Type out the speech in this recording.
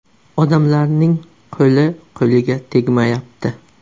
Odamlarning qo‘li-qo‘liga tegmayapti.